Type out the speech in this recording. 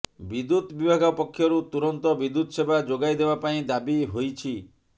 ବିଦ୍ୟୁତ୍ ବିଭାଗ ପକ୍ଷରୁ ତୁରନ୍ତ ବିଦ୍ୟୁତ୍ ସେବା ଯୋଗାଇ ଦେବା ପାଇଁ ଦାବି ହୋଇଛୀ